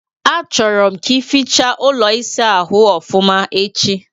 Achọrọ m ka ificha ụlọ ịsa ahụ ofụma echi